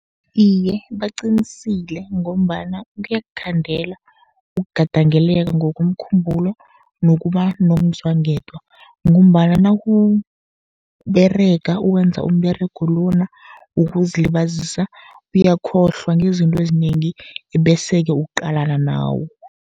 Iye, baqinisile ngombana kuyakukhandela ukugadangeleka ngokomkhumbulo nokuba nomzwangedwa, ngombana nakuberega ukwenza umberego lona wokuzilibazisa, uyakhohlwa ngezinto ezinengi bese-ke uqalana nawo.